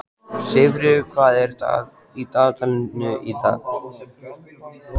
Sigfríður, hvað er í dagatalinu í dag?